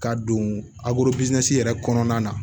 Ka don yɛrɛ kɔnɔna na